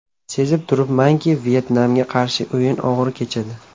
Sezib turibmanki, Vyetnamga qarshi o‘yin og‘ir kechadi.